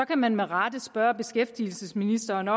kan man med rette spørge beskæftigelsesministeren